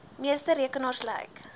meeste rekenaars lyk